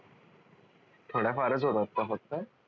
थोड्या फारच होतात का फक्त?